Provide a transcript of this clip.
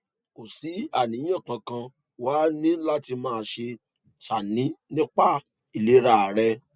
kò sí àníyàn kankan wàá ní láti máa ṣàní nípa ìlera rẹ